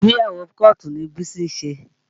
Ìgbéyàwó kọ́ọ̀tù ni Bísí ṣe